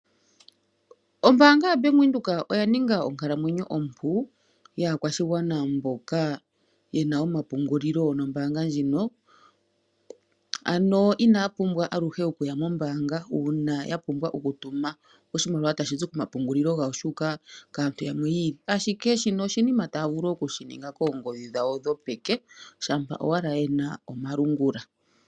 Ombaanga yaBank Windhoek oya ninga onkalamwenyo ompu yaakwashigwana mboka yena omapungulilo gombaanga ndjino. Ano inaya pumbwa aluhe okuya mombaanga uuna yapumbwa okutuma oshimaliwa tashizi komapungulilo gawo shuuka kaantu yamwe yiili, ashike shino oshinima taavulu oku shininga poongodhi dhawo dhopeke shampa owala yena omalungula.